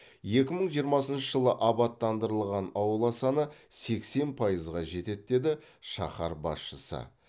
екі мың жиырмасыншы жылы абаттандырылған аула саны сексен пайызға жетеді деді шаһар басшысы